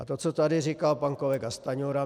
A to, co tady říkal pan kolega Stanjura.